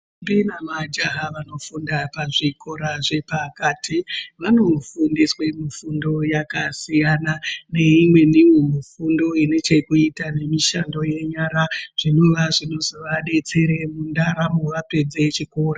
Ndombi nemajaya vanofunga pazvikora zvepakati vanofundiswa mifundo yakasiyana neimweniwo inechekuita nemifundo yenyara zvinova zvinozovadetsera mundaramo vapedza chikora.